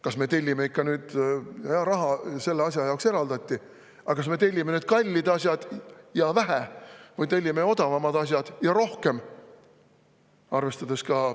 Raha mingi asja jaoks eraldatakse, aga, kas me tellime kalleid asju ja vähe või tellime odavaid asju ja palju.